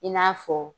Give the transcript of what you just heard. I n'a fɔ